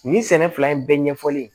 Nin sɛnɛ fila in bɛɛ ɲɛfɔlen